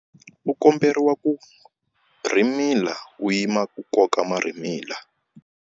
U komberiwa ku rhimila u yima ku koka marhimila.